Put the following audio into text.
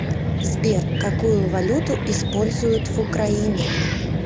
сбер какую валюту используют в украине